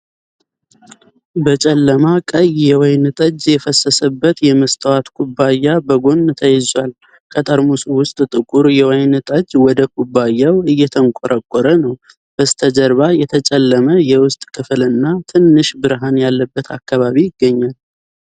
በጨለማ ቀይ የወይን ጠጅ የፈሰሰበት የመስታወት ኩባያ በጎን ተይዟል። ከጠርሙሱ ውስጥ ጥቁር የወይን ጠጅ ወደ ኩባያው እየተንቆረቆረ ነው። በስተጀርባ የተጨለመ የውስጥ ክፍልና ትንሽ ብርሃን ያለበት አካባቢ ይገኛል።